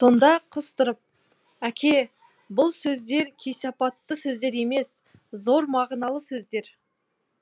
сонда қыз тұрып әке бұл сөздер кесепатты сөздер емес зор мағыналы сөздер